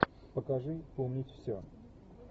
покажи помнить все